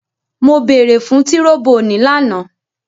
Mo beere fun tiroboni lana!